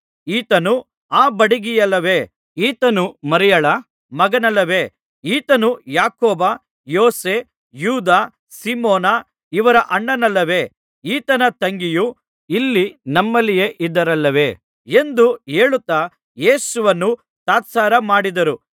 ಈತನು ಆ ಬಡಗಿಯಲ್ಲವೇ ಈತನು ಮರಿಯಳ ಮಗನಲ್ಲವೇ ಈತನು ಯಾಕೋಬ ಯೋಸೆ ಯೂದ ಸೀಮೋನ ಇವರ ಅಣ್ಣನಲ್ಲವೇ ಈತನ ತಂಗಿಯರು ಇಲ್ಲಿ ನಮ್ಮಲ್ಲಿಯೇ ಇದ್ದಾರಲ್ಲವೇ ಎಂದು ಹೇಳುತ್ತಾ ಯೇಸುವನ್ನು ತಾತ್ಸಾರ ಮಾಡಿದರು